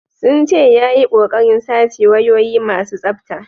Sun ce ya yi kokarin sace wayoyi masu tsafta.